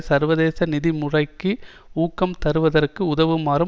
சர்வதேச நிதி முறைக்கு ஊக்கம் தருவதற்கு உதவுமாறும்